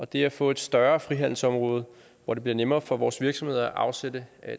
det at få et større frihandelsområde hvor det bliver nemmere for vores virksomheder at afsætte